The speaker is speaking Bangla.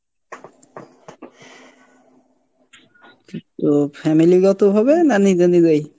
তো family গত ভাবে না নিজে নিজেই ?